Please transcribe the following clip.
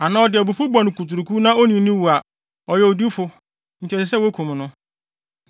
anaa ɔde abufuw bɔ no kuturuku na onii no wu a, ɔyɛ owudifo nti ɛsɛ sɛ wokum no.